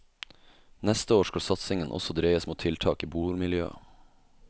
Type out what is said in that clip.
Neste år skal satsingen også dreies mot tiltak i bomiljøet.